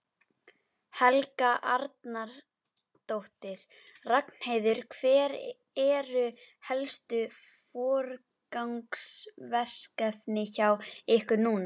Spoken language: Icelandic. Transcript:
Helga Arnardóttir: Ragnheiður, hver eru helstu forgangsverkefnin hjá ykkur núna?